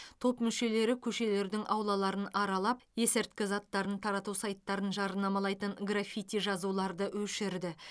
топ мүшелері көшелердің аулаларын аралап есірткі заттарын тарату сайттарын жарнамалайтын граффити жазуларды өшірді